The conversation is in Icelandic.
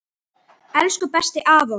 Elsku besti afi okkar!